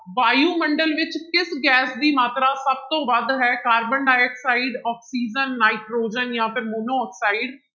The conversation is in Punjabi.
ਵਾਯੂਮੰਡਲ ਵਿੱਚ ਕਿਸ ਗੈਸ ਦੀ ਮਾਤਰਾ ਸਭ ਤੋਂ ਵੱਧ ਹੈ ਕਾਬਰਨ ਡਾਇਆਕਸਾਇਡ, ਆਕਸੀਜਨ ਨਾਇਟ੍ਰੋਜਨ ਜਾਂ ਫਿਰ ਮੋਨੋਆਕਸਾਇਡ।